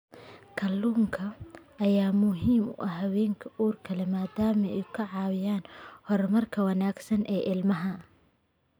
Kalluunka ayaa muhiim u ah haweenka uurka leh maadaama uu ka caawinayo horumarka wanaagsan ee ilmaha.